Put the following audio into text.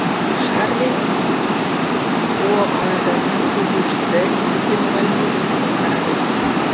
шарлин оар ның жүзушісі мектепте мұғалім болып жұмыс атқарады